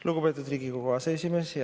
Lugupeetud Riigikogu aseesimees!